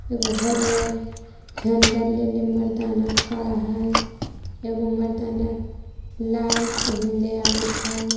एगो हरियर झंडा लेले मर्दाना खड़ा ह एगो मर्दाना लाल पहिनले आवथ.